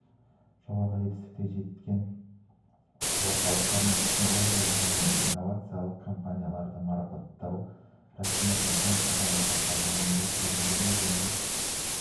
жоғары жетістікке жеткен орталықтар мен технологиялық және инновациялық компанияларды марапаттау рәсімі жылдың қазанында сапалық кемелдену және